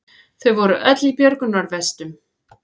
Þau voru öll í björgunarvestum